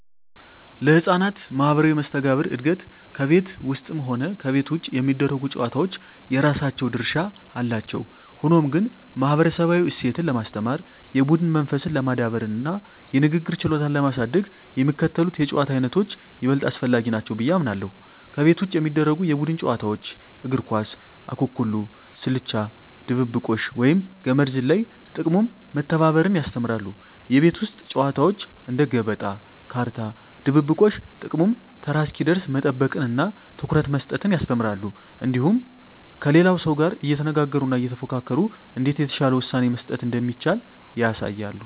ለሕፃናት ማኅበራዊ መስተጋብር እድገት ከቤት ውስጥም ሆነ ከቤት ውጭ የሚደረጉ ጨዋታዎች የራሳቸው ድርሻ አላቸው። ሆኖም ግን፣ ማኅበረሰባዊ እሴትን ለማስተማር፣ የቡድን መንፈስን ለማዳበርና የንግግር ችሎታን ለማሳደግ የሚከተሉት የጨዋታ ዓይነቶች ይበልጥ አስፈላጊ ናቸው ብዬ አምናለሁ፦ ከቤት ውጭ የሚደረጉ የቡድን ጨዋታዎች እግር ኳስ፣ ኩኩሉ፣ ስልቻ ድብብቆሽ፣ ወይም ገመድ ዝላይ። ጥቅሙም መተባበርን ያስተምራሉ። የቤት ውስጥ ጨዋታዎች እንደ ገበጣ፣ ካርታ፣ ድብብቆሽ… ጥቅሙም ተራ እስኪደርስ መጠበቅንና ትኩረት መስጠትን ያስተምራሉ። እንዲሁም ከሌላው ሰው ጋር እየተነጋገሩና እየተፎካከሩ እንዴት የተሻለ ውሳኔ መስጠት እንደሚቻል ያሳያሉ።